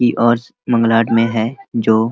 मांगलाड में है जो --